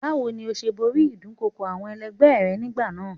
Báwo ni ó ṣe borí ìdúnkokò àwọn ẹlẹgbẹ́ ẹ nígbà náà?